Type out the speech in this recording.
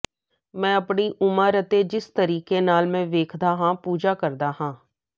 ਮੈਂ ਆਪਣੀ ਉਮਰ ਅਤੇ ਜਿਸ ਤਰੀਕੇ ਨਾਲ ਮੈਂ ਵੇਖਦਾ ਹਾਂ ਪੂਜਾ ਕਰਦਾ ਹਾਂ